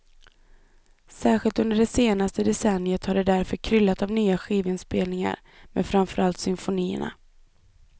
Särskilt under det senaste decenniet har det därför kryllat av nya skivinspelningar med framförallt symfonierna.